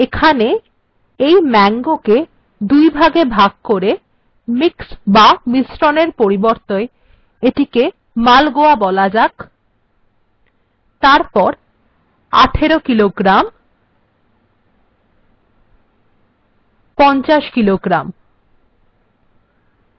এখানে এই mango কে দুইভাগে বিভক্ত করা যাক mix বা মিশ্রণ এর পরিবর্তে এটিকে মালগোয়া বলা যাক এবং তারপর ১৮ কিলোগ্রাম ৫০ কিলোগ্রাম